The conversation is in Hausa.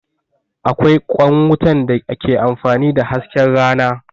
Akwai ƙwan wutan da ke amfani da hasken rana